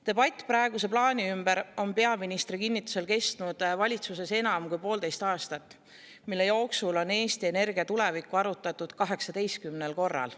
Debatt praeguse plaani üle on peaministri kinnitusel kestnud valitsuses enam kui poolteist aastat, mille jooksul on Eesti energia tulevikku arutatud 18 korral.